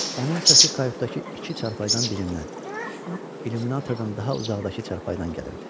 Onun səsi kayutdakı iki çarpayıdan birindən, illyuminatordan daha uzaqdakı çarpayıdan gəlirdi.